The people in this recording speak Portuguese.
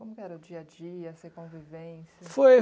Como que era o dia a dia, a sua convivência? Foi